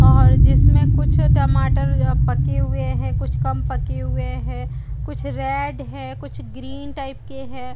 और जिसमें कुछ टमाटर ये पके हुए है कुछ कम पके हुए है कुछ रेड है कुछ ग्रीन टाइप के हैं |